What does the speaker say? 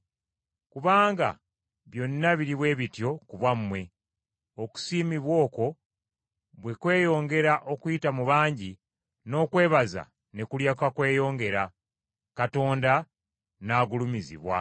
Kubanga byonna biri bwe bityo ku bwammwe, okusiimibwa okwo bwe kweyongera okuyita mu bangi, n’okwebaza ne kulyoka kweyongera, Katonda n’agulumizibwa.